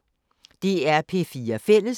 DR P4 Fælles